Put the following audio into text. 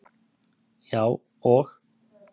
Já, og?